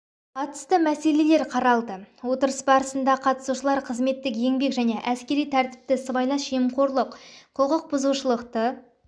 қатысты мәселелер қаралды отырыс барысына қатысушылар қызметтік еңбек және әскери тәртіпті сыбайлас жемқорлық құқық бұзушылықты